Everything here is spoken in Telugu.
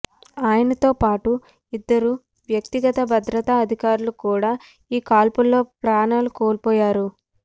ఆయనతో పాటు ఇద్దరు వ్యక్తిగత భద్రతా అధికారులు కూడా ఈ కాల్పుల్లో ప్రాణాలు కోల్పోయారు